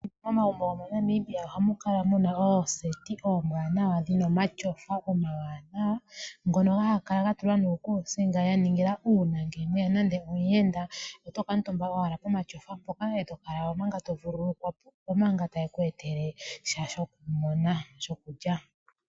Momagumbo gomoNamibia ohamu kala mu na ooseti oombwanawa dhina omatyofa omawanawa, ngono ha ga kala ga tulwa nuukuusinga ya ningila uuna ngele mweya nande omuyenda oto kuutumba owala komatyofa hoka e to kala manga to vululukwa po omanga ta ye ku etele sha shoku pona (shokulya).